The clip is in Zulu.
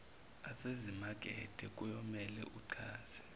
asezimakethe kuyomele achaze